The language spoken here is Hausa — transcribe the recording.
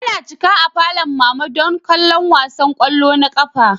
Ana cika a falon mama don kallon wasan kwallo na ƙasa